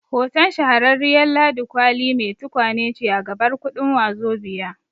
Hoton Shahararriyar Ladi Kwali mai tukwane ce a gabar kuɗin Wazobia